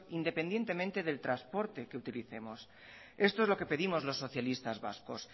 independientemente del transporte que utilicemos esto es lo que pedimos los socialistas vascos